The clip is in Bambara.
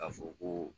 Ka fɔ ko